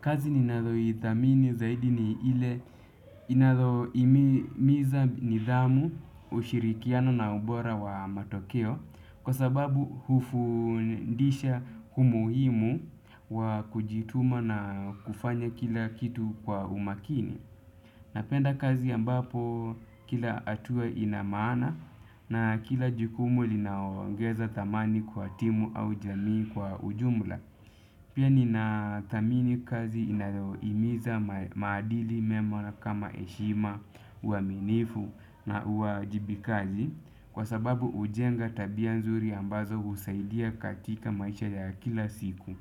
Kazi ninayo idhamini zaidi ni ile inayo himiza nidhamu ushirikiano na ubora wa matokeo kwa sababu hufundisha umuhimu wa kujituma na kufanya kila kitu kwa umakini. Napenda kazi ambapo kila hatuwa inamaana na kila jukumu linaongeza thamani kwa timu au jamii kwa ujumula. Pia nina thamini kazi inayohimiza maadili mema kama heshima, uaminifu na uajibikaji kwasababu hujenga tabia nzuri ambazo husaidia katika maisha ya kila siku.